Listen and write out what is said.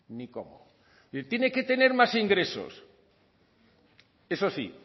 ni cómo y tiene que tener más ingresos eso sí